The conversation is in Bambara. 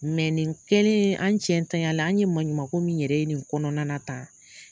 nin kɛlen an cɛ ntanyalen an ye maɲumako min yɛrɛ ye nin kɔnɔna na tan